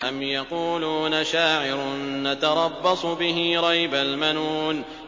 أَمْ يَقُولُونَ شَاعِرٌ نَّتَرَبَّصُ بِهِ رَيْبَ الْمَنُونِ